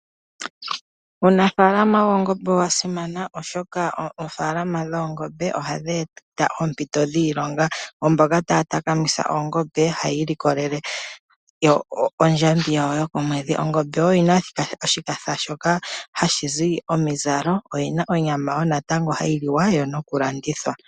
Uunafaalama woongombe owasimana oshoka oofaalama dhoongombe oha dhi eta oompito dhiilonga kwaamboka haya takamitha oongombe opo yiilikolele ondjambi yawo yokomwedhi. Ongembe oyina woo oshipa shoka hashi zi omizalo. Oyina onyama hayi liwa noku landithwa.